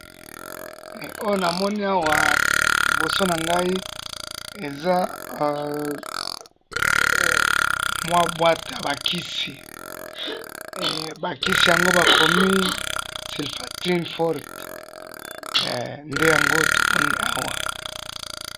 Oyo namoni Awa liboso na Ngai eza mwa boîte ya ba Kisi. Bakisi ango bakomi Sulfatrim forte. Nde Yango oyo tomoni awa